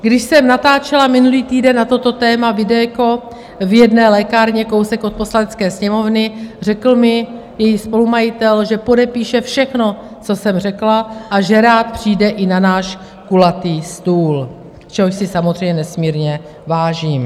Když jsem natáčela minulý týden na toto téma video v jedné lékárně kousek od Poslanecké sněmovny, řekl mi její spolumajitel, že podepíše všechno, co jsem řekla, a že rád přijde i na náš kulatý stůl, čehož si samozřejmě nesmírně vážím.